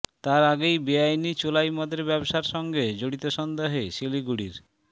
তার আগেই বেআইনি চোলাই মদের ব্যবসার সঙ্গে জড়িত সন্দেহে শিলিগুড়ির